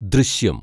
ദൃശ്യം